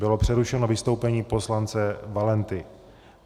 Bylo přerušeno vystoupení poslance Valenty.